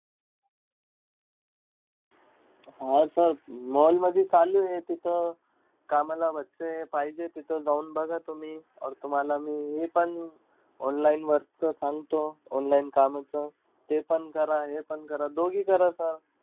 हा sir mall मधी चालूयं तिथं कामला पाहिजेय तिथं जाऊन बघा तुम्ही. ओर मी हे पण online वरचं सांगतो. Online कामाचं. ते पण करा हे पण करा दोघी करा sir.